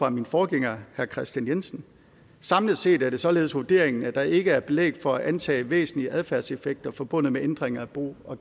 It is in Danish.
af min forgænger herre kristian jensen samlet set er det således vurderingen at der ikke er belæg for at antage væsentlige adfærdseffekter forbundet med ændringer af bo og